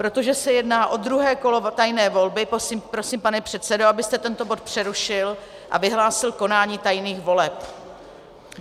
Protože se jedná o druhé kolo tajné volby, prosím, pane předsedo, abyste tento bod přerušil a vyhlásil konání tajných voleb.